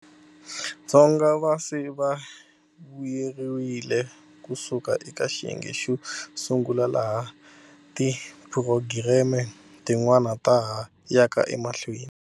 Dzonga va se va vuyeriwile ku suka eka xiyenge xo sungula, laha tiphurogireme tin'wana ta ha yaka emahlweni.